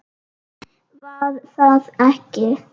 Var það ekki?